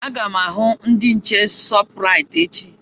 Aga m ahụ ndị nche Shọpraịt echi.